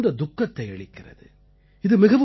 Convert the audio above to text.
இவை எனக்கு மிகுந்த துக்கத்தை அளிக்கிறது